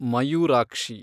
Mayurakshi